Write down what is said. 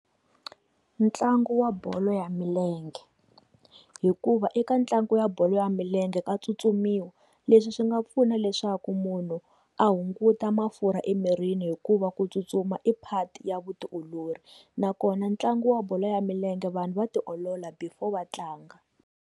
Ntlangu wa bolo ya milenge hikuva eka ntlangu wa bolo ya milenge ka tsutsumisiwa leswi swi nga pfuna leswaku munhu a hunguta mafurha emirini hikuva ku tsutsuma i part ya vutiolori nakona ntlangu wa bolo ya milenge vanhu va tiolola before va tlanga.